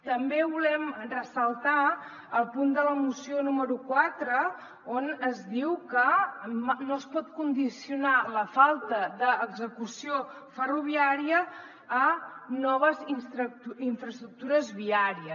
també volem ressaltar el punt de la moció número quatre on es diu que no es pot condicionar la falta d’execució ferroviària a noves infraestructures viàries